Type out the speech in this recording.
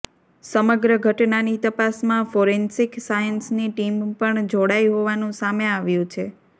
સમગ્ર ઘટનાની તપાસમાં ફોરેન્સિક સાયન્સની ટીમ પણ જોડાઇ હોવાનું સામે આવ્યુ છે